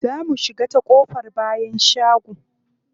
Za mu shiga ta ƙofar bayan shago.